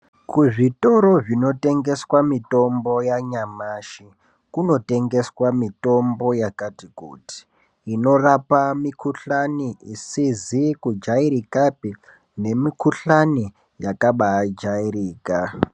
Kuzvitoro zvinotengeswa mitombo yanyamashi kunotengeswa mitombo yakati kuti. Inorapa mikuhlani izizi kujairikapi nemikuhlani yakabajairika.